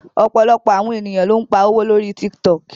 Ọ̀pọ̀lọpọ̀ àwọn ènìyàn ló ń pa owó lórí Tiktok